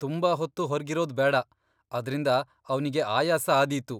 ತುಂಬಾ ಹೊತ್ತು ಹೊರ್ಗಿರೋದ್ ಬೇಡ, ಅದ್ರಿಂದ ಅವ್ನಿಗೆ ಆಯಾಸ ಆದೀತು.